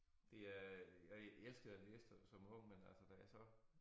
Det er jeg elskede at læse der som ung men altså da jeg så